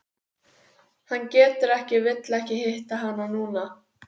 Hann getur ekki vill ekki hitta hana núna.